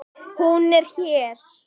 Hún er hér.